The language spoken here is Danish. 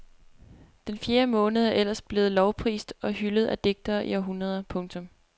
Den fjerde måned er ellers blevet lovprist og hyldet af digtere i århundreder. punktum